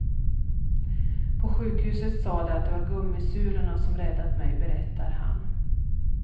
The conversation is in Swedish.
På sjukhuset sa de att de var gummisulorna som räddat mig, berättar han.